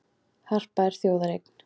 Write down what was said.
Harpa er þjóðareign